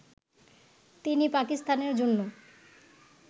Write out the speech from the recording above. তিনি পাকিস্তানের জন্য